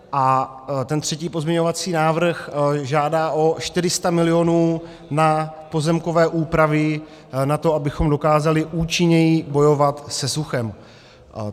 A ten třetí pozměňovací návrh žádá o 400 milionů na pozemkové úpravy na to, abychom dokázali účinněji bojovat se suchem.